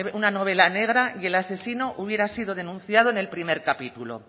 una novela negra y el asesino hubiera sido denunciado en el primer capítulo